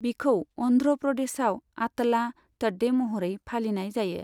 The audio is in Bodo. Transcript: बिखौ अन्ध्र' प्रदेशाव आतला तड्डे महरै फालिनाय जायो।